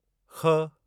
ख़